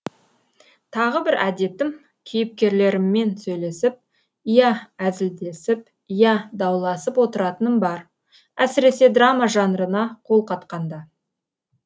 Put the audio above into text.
тағы бір әдетім кейіпкерлеріммен сөйлесіп иә әзілдесіп иә дауласып отыратыным бар әсіресе драма жанрына қол қатқанда